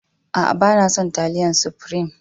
A'a, ba na son talliyan sufreme.